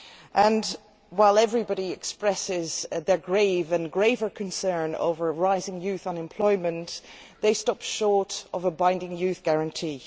And while everybody expresses their grave and graver concern over rising youth unemployment, they stop short of a binding Youth Guarantee.